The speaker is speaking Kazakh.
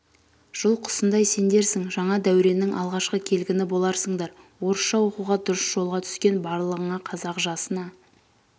жыл құсындай сендерсің жаңа дәуреннің алғашқы келгіні боларсыңдар орысша оқуға дұрыс жолға түскен барлығыңа қазақ жасына